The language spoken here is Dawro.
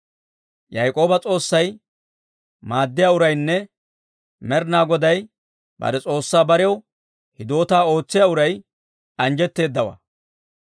Yaak'ooba S'oossay maaddiyaa uraynne Med'inaa Godaa bare S'oossaa barew hidootaa ootsiyaa uray, anjjetteeddawaa.